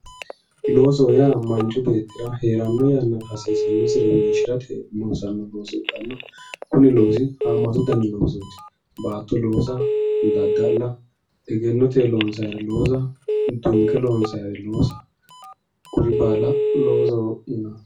Loosoho yaa manchu beettira heerano yannara hasiisanosire wonshirate loossano looso ikkanna kunni loosi hamatu dani loosoti baatto loossa dadda'la, egennote loonsannire loossa dunke loonsannire loossa kuri baalla loosoho yinanni.